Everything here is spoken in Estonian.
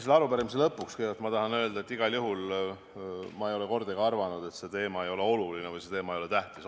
Selle arupärimise lõpuks tahan kõigepealt öelda, et igal juhul ei ole ma kordagi arvanud, et see teema ei ole oluline või et see teema ei ole tähtis.